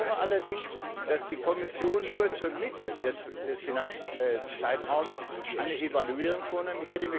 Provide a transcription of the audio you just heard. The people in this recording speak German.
Ich bedauere allerdings, dass die Kommission nur zur Mitte des Finanzzeitraums eine Evaluierung vornimmt.